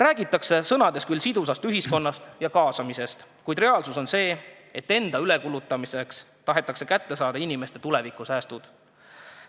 Räägitakse küll sidusast ühiskonnast ja kaasamisest, kuid reaalsus on see, et enda ülekulutamiseks tahetakse kätte saada inimeste tulevikusäästud.